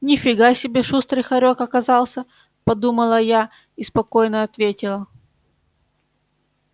ни фига себе шустрый хорёк оказался подумала я и спокойно ответила